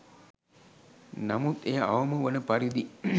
නමුත් එය අවම වන පරිදි